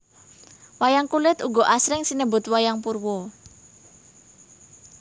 Wayang kulit uga asring sinebut wayang purwa